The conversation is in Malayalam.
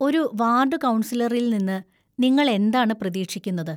ഒരു വാർഡ് കൗൺസിലറിൽ നിന്ന് നിങ്ങൾ എന്താണ് പ്രതീക്ഷിക്കുന്നത്?